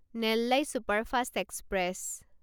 Nellai superfast express